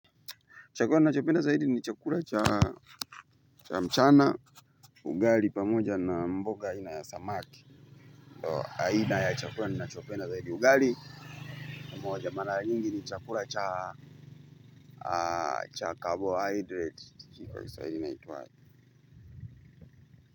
Chakura ninachopenda zaidi ni chakura cha mchana ugali pamoja na mboga aina ya samaki. Haina ya chakura ninachopenda zaidi ugali na umoja mala nyingi ni chakura cha cha carbon hydrate.